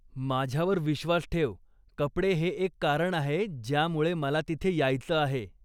माझ्यावर विश्वास ठेव, कपडे हे एक कारण आहे ज्यामुळे मला तिथे यायच आहे.